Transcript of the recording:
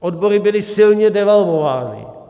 Odbory byly silně devalvovány.